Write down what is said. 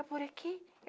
É por aqui?